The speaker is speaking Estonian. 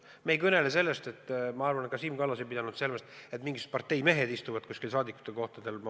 Me ei kõnele sellest ja ma arvan, et ka Siim Kallas ei pidanud seda silmas, et mingisugused parteimehed istuvad kuskil Eesti saadikute kohtadel.